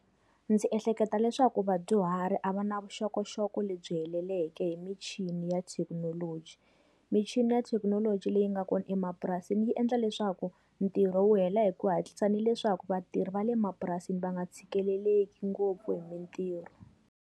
Ndzi ehleketa leswaku vadyuhari a va na vuxokoxoko lebyi heleleke hi michini ya thekinoloji. Michini ya thekinoloji leyi nga kona emapurasini yi endla leswaku, ntirho wu hela hi ku hatlisa ni leswaku vatirhi va le mapurasini va nga tshikeleleki ngopfu hi mintirho.